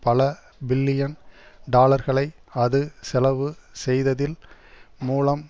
பல பில்லியன் டாலர்களை அது செலவு செய்ததில் மூலம்